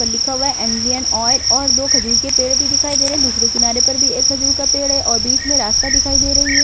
उस पर लिखा हुआ है इंडियन ऑयल और दो खजूर के पेड़ भी दिखाई दे रहे हैं दूसरे किनारे पर भी एक खजूर का पेड़ है और बीच में रास्ता दिखाई दे रही है।